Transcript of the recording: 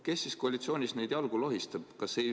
Kes siis koalitsioonis neid jalgu lohistab?